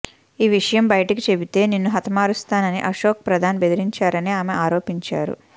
ఈ విషయం బయటకు చెబితే నిన్ను హతమారుస్తామని అశోక్ ప్రధాన్ బెదిరించారని ఆమె ఆరోపించారు